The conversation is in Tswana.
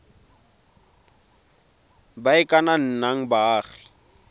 ba e ka nnang baagi